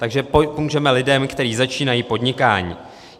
Takže pomůžeme lidem, kteří začínají podnikání.